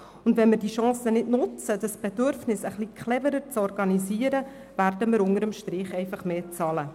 Wenn wir nicht die Chance nutzen, das Bedürfnis nach Mobilität clever in bestimmte Bahnen zu lenken, werden wir unter dem Strich einfach mehr zahlen.